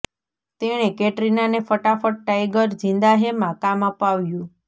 તેણે કેટરિનાને ફટાફટ ટાઇગર ઝિન્દા હૈ માં કામ અપાવ્યું